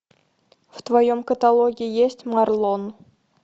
в твоем каталоге есть марлон